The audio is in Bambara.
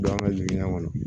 Don an ka jigiya kɔnɔ